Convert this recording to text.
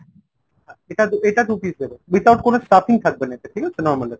এটা এটা দু piece দেবেন without কোনো stuffing থাকবেনা এতে ঠিক আছে normal একদম।